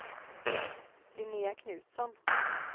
Linnea Knutsson